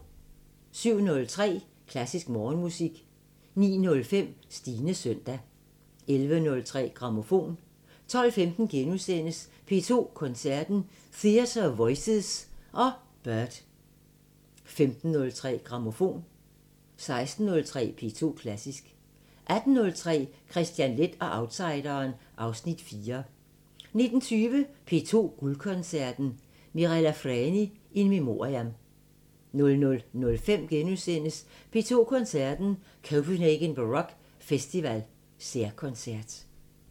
07:03: Klassisk Morgenmusik 09:05: Stines søndag 11:03: Grammofon 12:15: P2 Koncerten – Theatre of Voices og Byrd * 15:03: Grammofon 16:03: P2 Klassisk 18:03: Kristian Leth og outsideren (Afs. 4) 19:20: P2 Guldkoncerten – Mirella Freni in memoriam 00:05: P2 Koncerten – Copenhagen Baroque Festival særkoncert *